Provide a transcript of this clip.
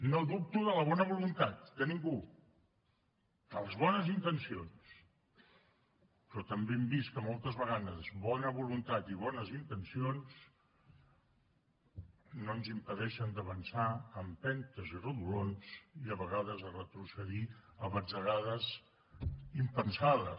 no dubto de la bona voluntat de ningú de les bones intencions però també hem vist que moltes vegades bona voluntat i bones intencions no ens impedeixen d’avançar a empentes i rodolons i a vegades a retrocedir a batzegades impensades